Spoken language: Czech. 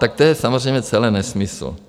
Tak to je samozřejmě celé nesmysl.